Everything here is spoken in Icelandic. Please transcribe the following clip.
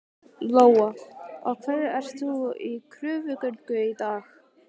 Lóa: Af hverju ert þú í kröfugöngu í dag?